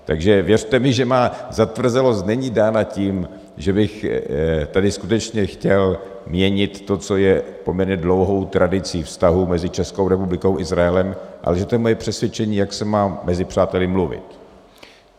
Takže věřte mi, že má zatvrzelost není dána tím, že bych tady skutečně chtěl měnit to, co je poměrně dlouhou tradicí vztahů mezi Českou republikou a Izraelem, ale že to je moje přesvědčení, jak se má mezi přáteli mluvit.